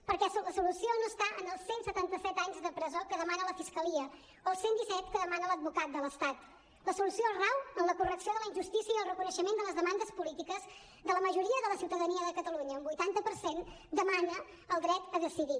perquè la solució no està en els cent i setanta set anys de presó que demana la fiscalia o els cent i disset que demana l’advocat de l’estat la solució rau en la correcció de la injustícia i el reconeixement de les demandes polítiques de la majoria de la ciutadania de catalunya un vuitanta per cent demana el dret a decidir